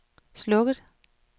slukket